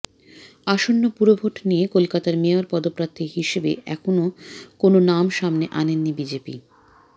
আসন্ন পুরভোট নিয়ে কলকাতার মেয়র পদপ্রার্থী হিসেবে এখনও কোনও নাম সামনে আনেনি বিজেপি